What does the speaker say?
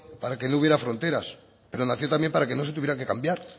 para que no hubiera fronteras pero nació también para que no se tuviera que cambiar